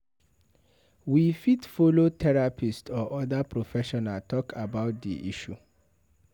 we fit follow therapist or other professional talk about di issue